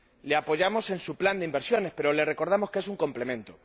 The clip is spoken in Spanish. Les apoyamos en su plan de inversiones, pero les recordamos que es un complemento.